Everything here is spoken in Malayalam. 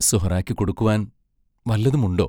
സുഹറായ്ക്കു കൊടുക്കുവാൻ വല്ലതുമുണ്ടോ?...